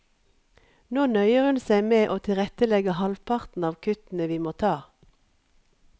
Nå nøyer hun seg med å tilrettelegge halvparten av kuttene vi må ta.